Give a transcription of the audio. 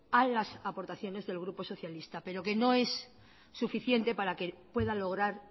a las aportaciones del grupo socialista pero que no es suficiente para que pueda lograr